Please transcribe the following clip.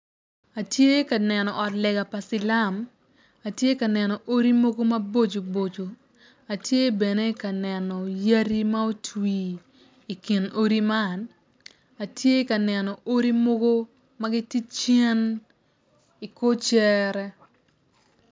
Atye ka neno ot lega ma silam atye ka neno odi mogo maboco boco atye bene kaneno yadi ma otwi i kin odi man atye ka neno odi mogo magitye cen i kor cere.